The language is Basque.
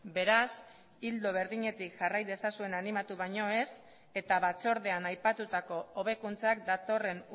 beraz ildo berdinetik jarraitu dezazuen animatu baino ez eta batzordean aipatutako hobekuntzak datorren